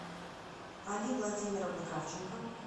али владимировна кравченко